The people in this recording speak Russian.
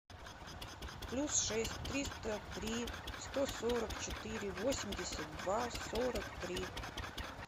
плюс шесть триста три сто сорок четыре восемьдесят два сорок три